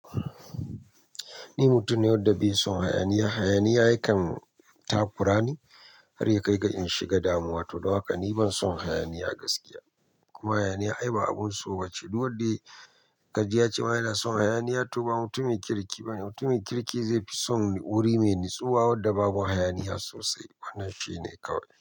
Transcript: Ni mutum ne wanda bai son hayaniya. Hayaniya yakan takurani har ya kai ga in shiga damuwa. To don haka ni ban son hayaniya gaskiya. Kuma hayaniya ai ba abun so ba ce. Duk wanda kaji ya ce wa yana son hayaniya to ba mutumi kirki ba ne. Mutumin kirki zai fi son wuri mai natsuwa wanda babu hayaniya sosai. Wannan shine kawai.